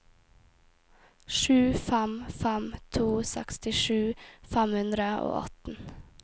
sju fem fem to sekstisju fem hundre og atten